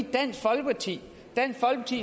dansk folkeparti